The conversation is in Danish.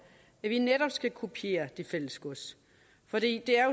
at vi netop skal kopiere det fælles gods for det er